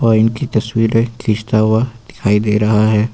और इनकी तस्वीरें खींचता हुआ दिखाई दे रहा है।